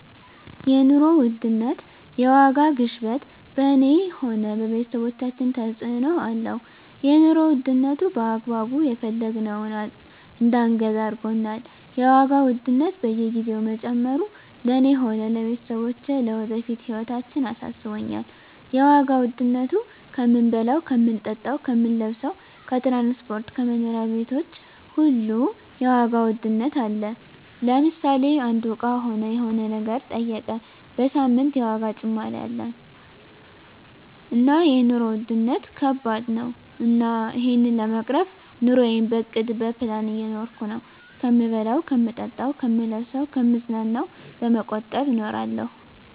የኑሮ ውድነት የዋጋ ግሽበት በኔ ሆነ በቤተሰቦቻችን ተጽእኖ አለው የኑሮ ዉድነቱ በአግባቡ የፈለግነውን እዳንገዛ አርጎናል የዋጋ ውድነት በየግዜው መጨመሩ ለእኔ ሆነ ለቤተሰቦቸ ለወደፊት ህይወታችን አሳስቦኛል የዋጋ ዉድነቱ ከምንበላው ከምንጠጣው ከምንለብሰው ከትራንስፖርት ከመኖሪያ ቤቶች ሁሉ የዋጋ ውድነት አለ ለምሳሌ አንዱ እቃ ሆነ የሆነ ነገር ጠይቀ በሳምንት የዋጋ ጭማሪ አለ እና የኖሩ ዉድነት ከባድ ነው እና እሄን ለመቅረፍ ኑረየን በእቅድ በፕላን እየኖርኩ ነው ከምበላው ከምጠጣ ከምለብሰው ከምዝናናው በመቆጠብ እኖራለሁ